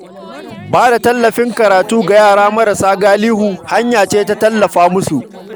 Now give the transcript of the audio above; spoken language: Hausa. Ba da littattafan karatu ga yara marasa galihu hanya ce ta tallafa musu.